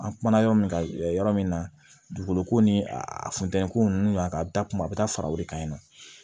An kumana yɔrɔ min kan yɔrɔ min na dugukolo ko ni a a funtɛni ko n'u y'a a bɛ taa kuma a bɛ taa fara o de kan ɲi nɔ